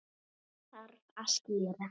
Þetta þarf að skýra.